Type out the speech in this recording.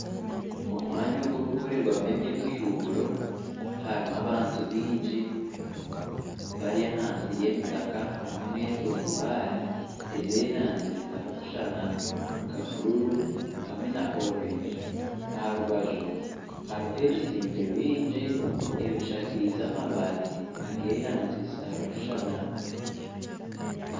Omwanya ogurikukorerwamu eby'emishuuburo harimu abantu baingi bari ahansi y'emitaka hamwe n'entundubaare ez'erangi zitarikushushana nka bururu hamwe na orengi aharubaju hariho ebizimbe bingi ebishakaize amabaati ag'erangi zitarikushushana.